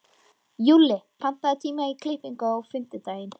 Júlli, pantaðu tíma í klippingu á fimmtudaginn.